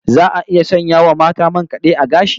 Za a iya sanya wa mata man kad'e a gashi?